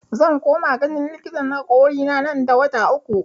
Zan koma ganin likitan hakorina nan da wata uku